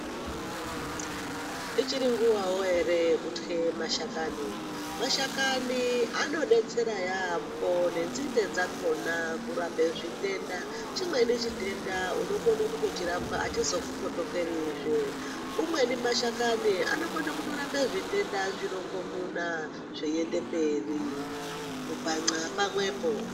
Ichiri nguvawo ere yekutye mashakani mashakani ano detsera yambo ne nzinde dzakona kurape zvitenda chimweni chitenda unokone kutochi rapwa achizo kupotekeri zve umweni mashakani anokone kutorapa zvitenda zvirongo muna zvei ende mberi ku bhan'a pamwepo.